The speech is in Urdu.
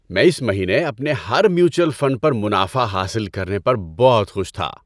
میں اس مہینے اپنے ہر میوچوئل فنڈ پر منافع حاصل کرنے پر بہت خوش تھا۔